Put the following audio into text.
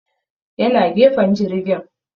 Ya na gefen jirgin